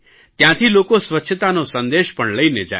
ત્યાંથી લોકો સ્વચ્છતાનો સંદેશ પણ લઇને જાય